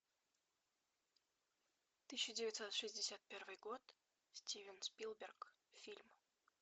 тысяча девятьсот шестьдесят первый год стивен спилберг фильм